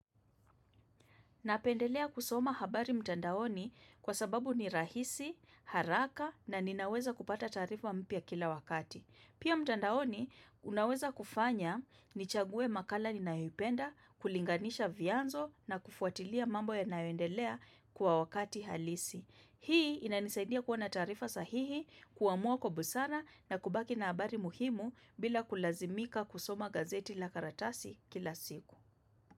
Napendelea kusoma habari mtandaoni kwa sababu ni rahisi, haraka na ninaweza kupata taarifa mpya kila wakati. Pia mtandaoni unaweza kufanya nichaguwe makala ninayoipenda, kulinganisha vyanzo na kufuatilia mambo yanayoendelea kwa wakati halisi. Hii inanisaidia kuwa na taarifa sahihi, kuamua kwa busara na kubaki na habari muhimu bila kulazimika kusoma gazeti la karatasi kila siku.